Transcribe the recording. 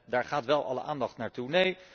Daar gaat wel alle aandacht naartoe.